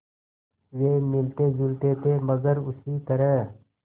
वे मिलतेजुलते थे मगर उसी तरह